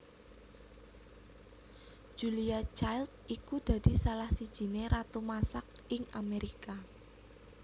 Julia Child iku dadi salah sijiné ratu masak ing Amerika